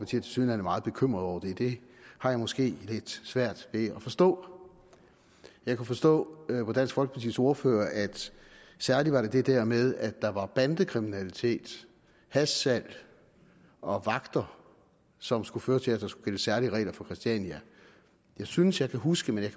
tilsyneladende meget bekymret over det det har jeg måske lidt svært ved at forstå jeg kan forstå på dansk folkepartis ordfører at at det særlig var det der med at der var bandekriminalitet hashsalg og vagter som skulle føre til at der skulle gælde særlige regler for christiania jeg synes jeg kan huske men jeg